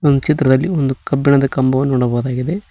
ಒಂದ್ ಚಿತ್ರದಲ್ಲಿ ಒಂದು ಕಬ್ಬಿಣದ ಕಂಬವನ್ನು ನೋಡಬಹುದಾಗಿದೆ.